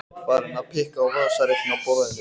Þunglamalegur í hreyfingum en viljinn var einbeittur.